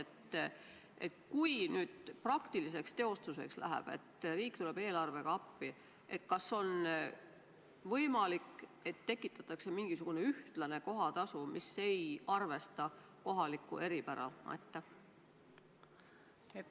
Kui selles eelnõus toodu praktiliseks teostuseks läheb, kui riik tuleb eelarvega appi, siis kas on võimalik, et määratakse mingisugune ühene kohatasu, mis ei arvesta kohalikku eripära?